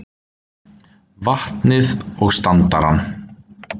vatnið og standarann.